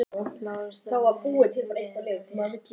LÁRUS: Það mun vera- rétt.